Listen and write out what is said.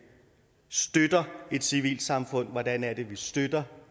støtter et civilsamfund hvordan vi støtter